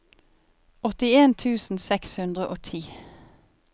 åttien tusen seks hundre og ti